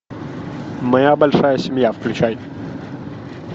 моя большая семья включай